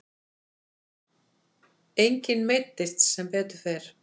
Enginn meiddist sem betur fer.